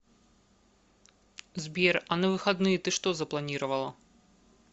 сбер а на выходные ты что запланировала